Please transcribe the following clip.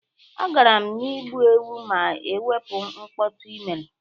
Agaara m igbu enwe ma e wepu mkpọtụ i mere.